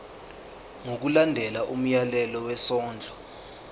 ngokulandela umyalelo wesondlo